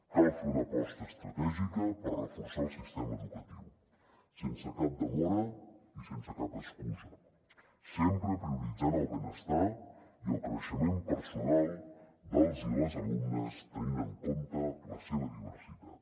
cal fer una aposta estratègica per reforçar el sistema educatiu sense cap demora i sense cap excusa sempre prioritzant el benestar i el creixement personal dels i les alumnes tenint en compte la seva diversitat